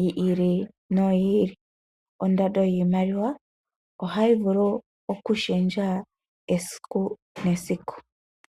yi ili noyi ili, ondando yiimaliwa ohayi vulu oku shendja esiku nesiku.